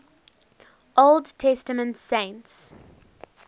old testament saints